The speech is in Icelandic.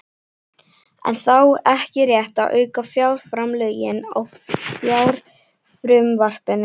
Er þá ekki rétt að auka fjárframlögin á fjárlagafrumvarpinu?